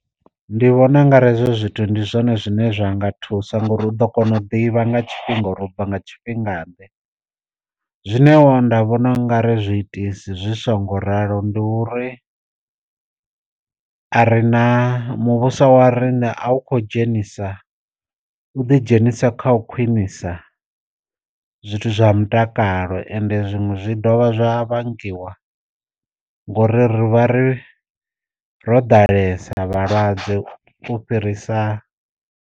Ndi vhona u nga ri hezwo zwithu ndi zwone zwine zwa nga thusa ngori u ḓo kona u ḓivha nga tshifhinga uri ubva nga tshifhinga ḓe, zwine nda vhona u nga ri zwiitisi zwi songo ralo ndi uri a re na muvhuso wa rine a u kho dzhenisa u ḓi dzhenisa kha u khwinisa zwithu zwa mutakalo ende zwiṅwe zwi dovha zwa vhangiwa ngori ri vha ri ro ḓalesa vhalwadze u fhirisa.